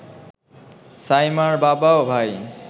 সাইমার বাবা ও ভাই